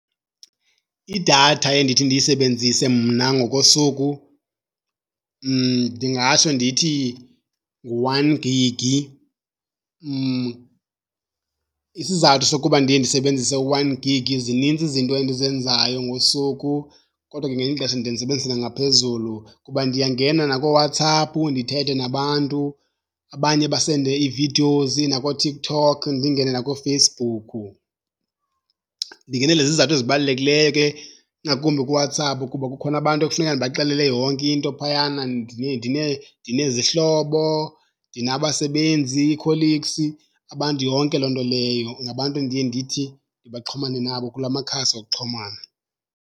Idatha endithi ndiyisebenzise mna ngokosuku ndingatsho ndithi ngu-one gig. Isizathu sokuba ndiye ndisebenzise u-one gig zinintsi izinto endizenzayo ngosuku kodwa ke ngelinye ixesha ndiye ndisebenzise nangaphezulu kuba ndiyangena nakooWhatsApp ndithethe nabantu, abanye basende ii-videos nakooTikTok ndingene nakooFacebook. Ndingenele izizathu ezibalulekileyo ke ingakumbi kuWhatsApp kuba kukhona abantu ekufuneka ndibaxelele yonke into phayana. Ndinezihlobo, ndinabasebenzi ii-colleagues, abantu yonke loo nto leyo, ngabantu endiye ndithi ndibaxhomane nabo kula makhasi okuxhumana.